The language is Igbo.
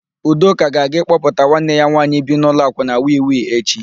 Udoka ga-aga ịkpọpụta nwanne ya nwaanyị bi n'ụlọ akwụna Wi-Wi echi.